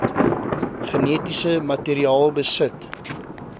genetiese materiaal besit